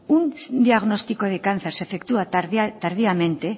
un diagnóstico de cáncer se efectúa tardíamente